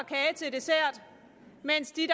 dessert mens de